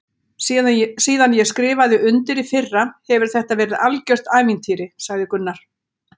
Síðan ég skrifaði undir í fyrra hefur þetta verið algjört ævintýri sagði Gunnar.